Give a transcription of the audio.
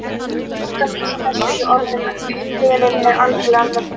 Það er erfitt að lýsa þessu í orðum, en upplifunin er algerlega mögnuð.